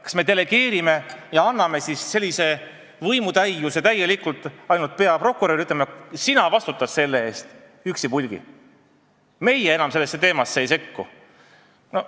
Kas me delegeerime selle kohustuse ja anname võimutäiuse ainult peaprokurörile, ütleme talle: sina vastutad selle eest, meie enam sellesse teemasse ei sekku?